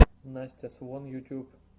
настя свон ютьюб